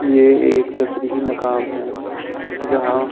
ये एक तफरीही मुकाम हैजहां--